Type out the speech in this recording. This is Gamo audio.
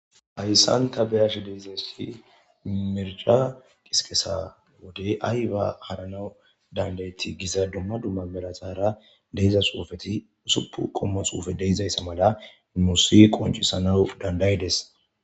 hayssanta beyashe dizinisi mercha qisiqesa wode ay ba haranau dandayeti giza dumma dumma belaxaara deizasoofeti usuppu qommo xuufe deizayssa mala nu si qoncisanau dandaydes